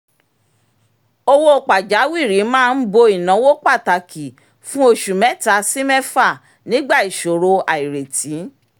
owó pàjáwìrì máa ń bo ináwó pàtàkì fún oṣù mẹ́ta sí mẹ́fà nígbà ìṣòro àìrètí